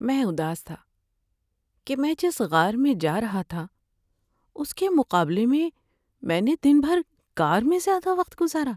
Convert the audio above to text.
میں اداس تھا کہ میں جس غار میں جا رہا تھا اس کے مقابلے میں میں نے دن بھر کار میں زیادہ وقت گزارا۔